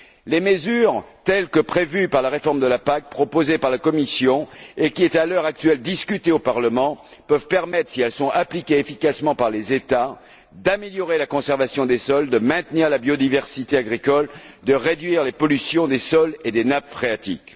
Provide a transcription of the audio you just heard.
Les mesures, telles que prévues par la réforme de la PAC, proposée par la Commission et discutée, à l'heure actuelle, au Parlement, peuvent permettre, si elles sont appliquées efficacement par les États, d'améliorer la conservation des sols, de maintenir la biodiversité agricole, de réduire les pollutions des sols et des nappes phréatiques.